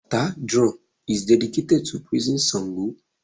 Bàtá drum is dedicated to praising Ṣàngó